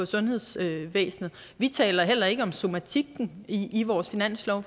sundhedsvæsenet vi taler heller ikke om somatikken i i vores finanslov